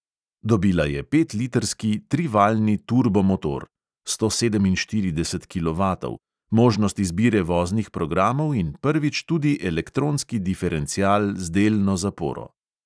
Dobila je petlitrski trivaljni turbomotor (sto sedeminštirideset kilovatov), možnost izbire voznih programov in prvič tudi elektronski diferencial z delno zaporo.